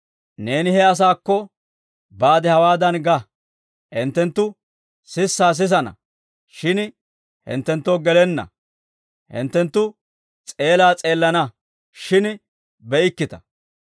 « ‹Neeni he asaakko baade hawaadan ga; «Hinttenttu sissaa sisana, shin hinttenttoo gelenna; hinttenttu s'eelaa s'eelana, shin be'ikkita.